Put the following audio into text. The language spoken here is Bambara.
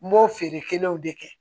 N b'o feere kɛnɛw de kɛ